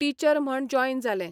Teacher म्हण join जालें.